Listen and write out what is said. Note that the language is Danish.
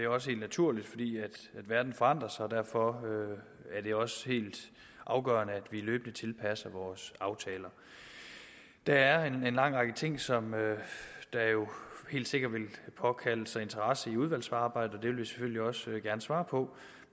også helt naturligt fordi verden forandrer sig derfor er det også helt afgørende at vi løbende tilpasser vores aftaler der er en lang række ting som helt sikkert vil påkalde sig interesse i udvalgsarbejdet og det vil vi selvfølgelig også gerne svare på